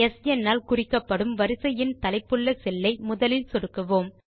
ஸ்ன் ஆல் குறிக்கப்படும் வரிசை எண் தலைப்புள்ள செல்லை முதலில் சொடுக்குவோம்